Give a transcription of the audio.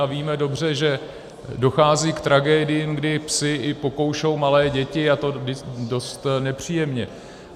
A víme dobře, že dochází k tragédiím, kdy psi i pokoušou malé děti, a to dost nepříjemně.